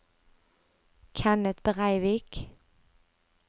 Kenneth Breivik